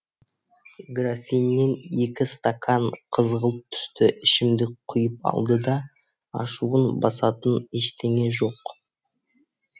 графиннен екі стакан қызғылт түсті ішімдік құйып алды да ашуын басатын ештеңе жоқ